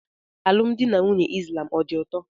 Alụmdi na nwunye islam ọ dị ụtọ?